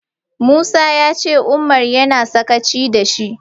Musa ya ce Umar yana sakaci da shi.